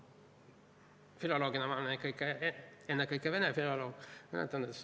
Filoloogina olen ma ikkagi ennekõike vene filoloog.